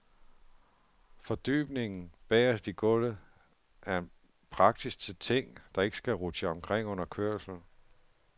Fordybningen bagest i gulvet er praktisk til ting, der ikke skal rutsje omkring under kørslen.